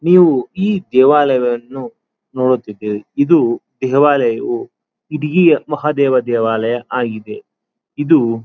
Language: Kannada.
ನೀವು ಈ ದೇವಾಲಯವನ್ನು ನೋಡುತ್ತಿದ್ದೇವೆ ಇದು ದೇವಾಲಯವು ಮಹಾದೇವ ದೇವಾಲಯವಾಗಿದೆ ಇದು.